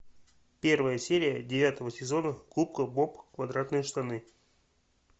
первая серия девятого сезона губка боб квадратные штаны